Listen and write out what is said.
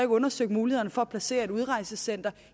undersøgt mulighederne for at placere et udrejsecenter